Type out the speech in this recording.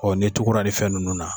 Ɔ ne tugura ninn fɛn nunnu na